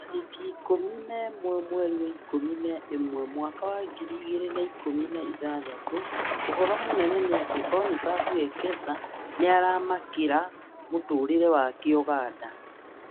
Tarĩki ikũmi na ĩmwe mweri wa ikũmi na ĩmwe mwaka wa ngiri igĩrĩ na ikũmi na ithathatũ: ũhoro mũnene nĩ atĩ Boniface Wekesa nĩaramakĩra mũtũrĩre wake Uganda